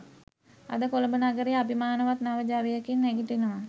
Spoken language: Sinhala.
අද කොළඹ නගරය අභිමානවත් නව ජවයකින් නැගිටිනවා